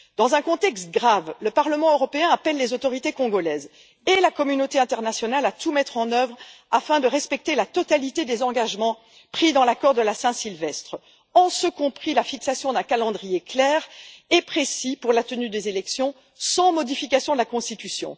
Dans un contexte grave, le Parlement européen appelle les autorités congolaises et la communauté internationale à tout mettre en œuvre afin de respecter la totalité des engagements pris dans l'accord de la Saint Sylvestre, en ce compris la fixation d'un calendrier clair et précis pour la tenue des élections, sans modification de la Constitution.